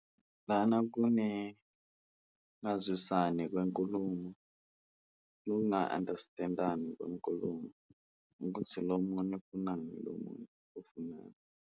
Lana kune ngazwisani kwenkulumo kunga-understand-ani kwenkulumo, ukuthi lo munye ufunani lo munye ufunani.